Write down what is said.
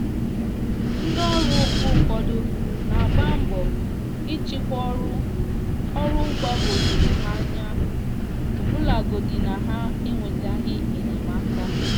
ndị ọrụ mgbe ụfọdụ n'agba mbọ ịchịkwa ọrụ ọrụ gbagoo jụrụ ha anya ọbụlagodi na ha enwetaghị enyemaka